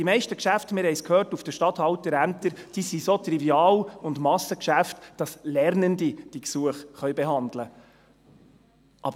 Die meisten Geschäfte auf den Stadthalterämtern sind, wie wir gehört haben, so triviale Massengeschäfte, dass Lernende diese Gesuche behandeln können.